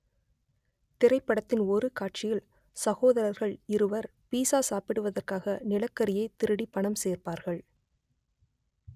திரைப்படத்தின் ஒரு காட்சியில் சகோதரர்கள் இருவர் பீட்ஸா சாப்பிடுவதற்காக நிலக்கரியை திருடி பணம் சேர்ப்பார்கள்